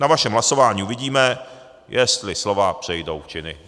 Na vašem hlasování uvidíme, jestli slova přejdou v činy.